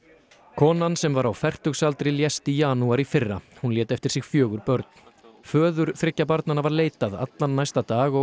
konan sem var á fertugsaldri lést í janúar í fyrra hún lét eftir sig fjögur börn föður þriggja barnanna var leitað allan næsta dag og